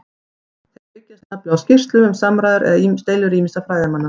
Þeir byggjast nefnilega á skýrslum um samræður eða deilur ýmissa fræðimanna.